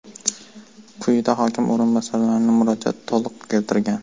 Quyida hokim o‘rinbosarining murojaati to‘liq keltirilgan.